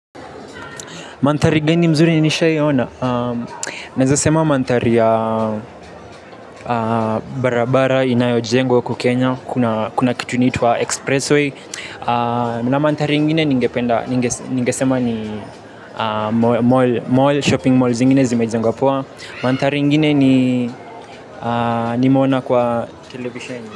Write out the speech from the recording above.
Manthari gani mzuri nishaiona. Naeza sema manthari ya barabara inayojengwa uku kenya. Kuna kitu inaitwa express way. Na manthari ingine ningesema ni mall, shopping malls zingine zimejengwa poa. Manthari ingine nimeona kwa televisheni.